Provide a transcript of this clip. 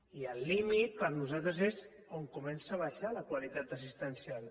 i el límit per nosaltres és on comença a baixar la qualitat assistencial